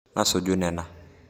Nasuju nena